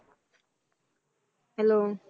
Hello